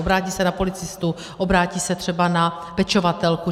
Obrátí se na policistu, obrátí se třeba na pečovatelku.